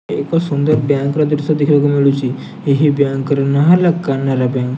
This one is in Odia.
ଏକ ସୁନ୍ଦର ବ୍ୟାଙ୍କ୍ ଦୃଶ୍ୟ ଦେଖି ବାକୁ ମିଳୁଛି ଏହି ବ୍ୟାଙ୍କ୍ ର ନା ହେଲା କାନାଡା ବ୍ୟାଙ୍କ୍ ।